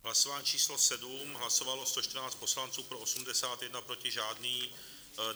Hlasování číslo 7, hlasovalo 114 poslanců, pro 81, proti žádný.